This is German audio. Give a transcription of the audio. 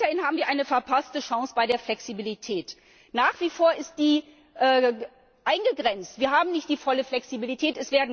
Weiterhin haben wir eine verpasste Chance bei der Flexibilität, nach wie vor ist sie eingegrenzt. Wir haben nicht die volle Flexibilität.